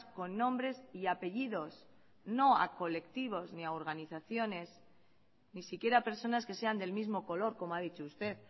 con nombres y apellidos no a colectivos ni a organizaciones ni siquiera a personas que sean del mismo color como ha dicho usted